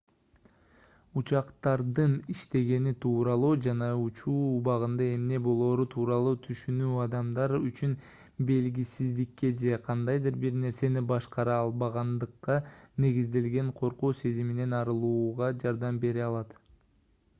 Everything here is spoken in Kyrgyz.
учактардын иштегени тууралуу жана учуу убагында эмне болоору тууралуу түшүнүү адамдар үчүн белгисиздикке же кандайдыр бир нерсени башкара албагандыкка негизделген коркуу сезиминен арылууга жардам бере алат